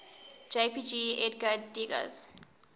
jpg edgar degas